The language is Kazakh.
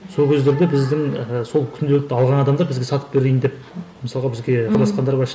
сол кездерде біздің сол күнделікті алған адамдар бізге сатып берейін деп мысалға бізге хабарласқандар бар